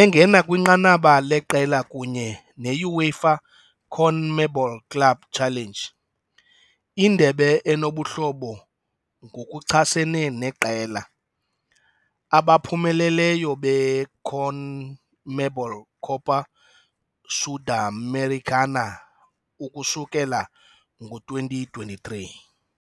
engena kwinqanaba leqela, kunye ne-UEFA-CONMEBOL Club Challenge - indebe enobuhlobo ngokuchasene neqela abaphumeleleyo be-CONMEBOL Copa Sudamericana - ukusukela ngo-2023.